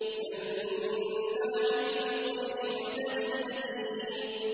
مَّنَّاعٍ لِّلْخَيْرِ مُعْتَدٍ أَثِيمٍ